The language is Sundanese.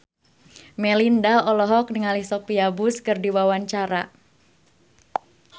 Melinda olohok ningali Sophia Bush keur diwawancara